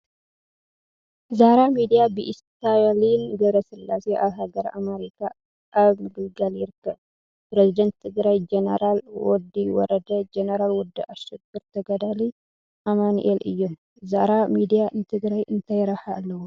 ዛራ ሚዲያ ብኢስታሊን ገ/ስላሴ ኣብ ሃገረ ኣማሪካ ኣብ ምግልጋል ይርካብ ። ፕረዚዳን ትግራይ ጀነራል ወዲ ወረዳ ፣ ጀነራል ወዲ ኣሸብር ፣ ተጋዳሊ ኣማኒኤል እዮም ።ዛራ ሚድያ ንትግራይ እንታይ ረብሓ ኣለዎ ?